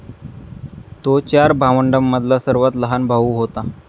तो चार भावंडांमधला सर्वात लहान भाऊ होता.